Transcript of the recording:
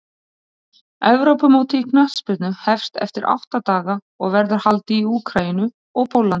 Evrópumótið í knattspyrnu hefst eftir átta daga og verður haldið í Úkraínu og Póllandi.